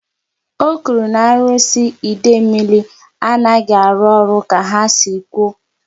O kwuru na arụsị Idemili anaghị arụ ọrụ ka ha si kwụ